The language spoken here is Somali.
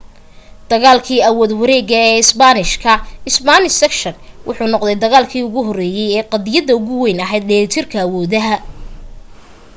dagaalkii awood-wareegga ee isbaanishka spanish succession wuxuu noqday dagaalki ugu horeeyay ee qadiyadda ugu weyn ahayd dheellitirka awoodaha